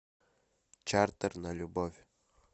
чартер на любовь